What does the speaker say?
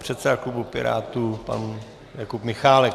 Předseda klubu Pirátů pan Jakub Michálek.